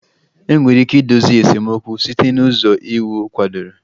Enwere ike idozi esemokwu site n'ụzọ iwu kwadoro